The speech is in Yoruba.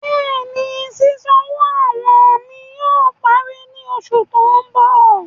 Bẹ́ẹ̀ni, ṣísanwọ́ àwọn mi yóò pàrí ní oṣù tó n bọ̀.